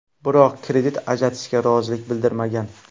Biroq kredit ajratishga rozilik bildirmagan.